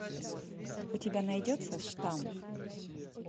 у тебя найдется штамм